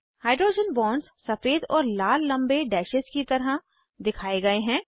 hydrogen bonds सफ़ेद और लाल लम्बे डैशेज़ की तरह दिखाए गए हैं